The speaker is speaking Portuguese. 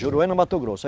Juruena, Mato Grosso.